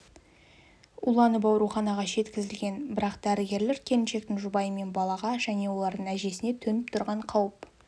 уланып ауруханаға жеткізілген бірақ дәрігерлер келіншектің жұбайы мен балаға және олардың әжесіне төніп тұрған қауіп